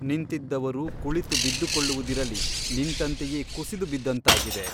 ನಿಂತಿದ್ದವರು ಕುಳಿತು ಬಿದ್ದುಕೊಳ್ಳುವುದಿರಲಿ ನಿಂತಂತೆಯೇ ಕುಸಿದು ಬಿದ್ದಂತಾಗಿದೆ.